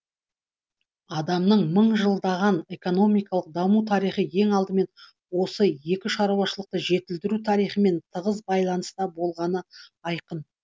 адамның мың жылдаған экономикалық даму тарихы ең алдымен осы екі шаруашылықты жетілдіру тарихымен тығыз байланыста болганы айқын